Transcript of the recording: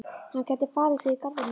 Hann gæti falið sig í garðinum.